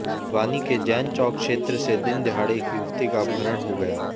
भिवानी के जैन चौक क्षेत्र से दिन दहाड़े एक युवती का अपहरण हो गया